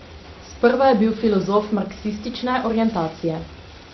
Sprva je bil filozof marksistične orientacije.